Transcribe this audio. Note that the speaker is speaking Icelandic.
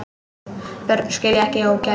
Börn skilja ekki ógæfu.